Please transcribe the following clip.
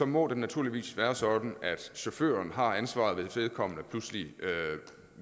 må det naturligvis være sådan at chaufføren har ansvaret hvis vedkommende pludselig